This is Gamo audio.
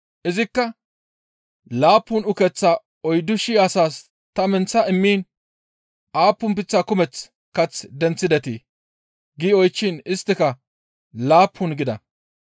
Izikka, «Laappun ukeththaa oyddu shii asaas ta menththa immiin aappun leemate kumeththa kath denththidetii?» gi oychchiin isttika, «Laappun» gida.